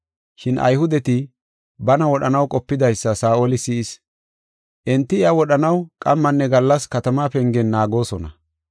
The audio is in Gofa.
Shin Ayhudeti bana wodhanaw qopidaysa Saa7oli si7is. Enti iya wodhanaw qammanne gallas katama pengen naagoosona.